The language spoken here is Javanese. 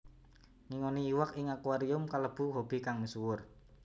Ngingoni iwak ing akuarium kalebu hobi kang misuwur